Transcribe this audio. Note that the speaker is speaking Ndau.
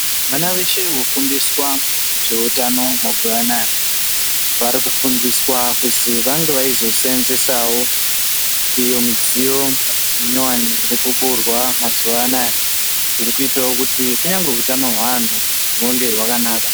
Vana veshe vonofundiswa zveutano mazuwa anaya vari kufundiswa kuzi vange veizosevenzesawo iyo mudziyo minyowani iri kuburwa mazuwa anaya zviri kuitawo kuti kunyangwe utano hweanhu hunge hwakanaka.